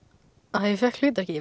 að ég fékk hlutverkið